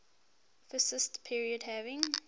fascist period having